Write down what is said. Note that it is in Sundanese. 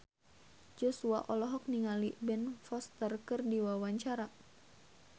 Joshua olohok ningali Ben Foster keur diwawancara